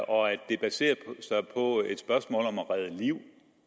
og at det baserer sig på et spørgsmål om at redde liv